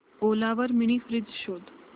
ओला वर mini fridge शोध